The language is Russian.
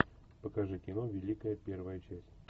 покажи кино великая первая часть